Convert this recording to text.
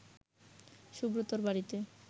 সুব্রতর বাড়িতে